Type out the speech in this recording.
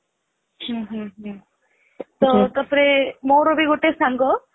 ହୁଁ ହୁଁ ତ ତା ପରେ ମୋର ବି ଗୋଟେ ସାଙ୍ଗ